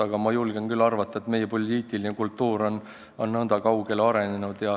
Aga ma julgen küll arvata, et meie poliitiline kultuur on selleks liiga kaugele arenenud.